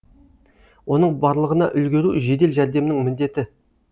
оның барлығына үлгеру жедел жәрдемнің міндеті